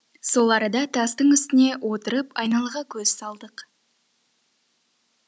сол арада тастың үстіне отырып айналаға көз салдық